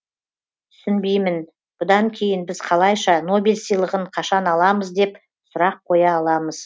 түсінбеймін бұдан кейін біз қалайша нобель сыйлығын қашан аламыз деп сұрақ қоя аламыз